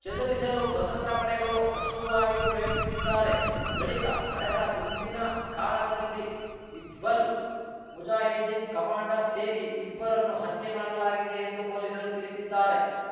ಚದುರಿಸಲು ಭದ್ರತಾ ಪಡೆಗಳು ಅಶ್ರುವಾಯು ಪ್ರಯೋಗಿಸಿದ್ದಾರೆ ಬಳಿಕ ನಡೆದ ಗುಂಡಿನ ಕಾಳಗದಲ್ಲಿ ಹಿಜ್ಬುಲ್‌ ಮುಜಾಹಿದ್ದೀನ್‌ ಕಮಾಂಡರ್‌ ಸೇರಿ ಇಬ್ಬರನ್ನು ಹತ್ಯೆ ಮಾಡಲಾಗಿದೆ ಎಂದು ಪೊಲೀಸರು ತಿಳಿಸಿದ್ದಾರೆ